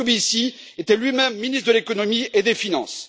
Moscovici était lui même ministre de l'économie et des finances.